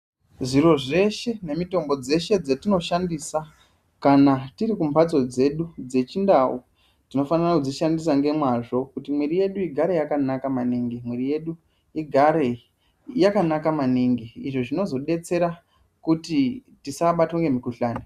Zviro zveshe nemitombo dzeshe dzetinoshandisa kana tiri kumbatso dzedu dzechindau tinofanira kudzishandisa ngemwazvo kuti mwiri yedu igare yakanaka izvo zvinozodetsera kuti tisabatwa ngemikhuhlani.